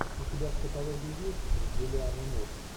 у тебя в каталоге есть с джулианной мур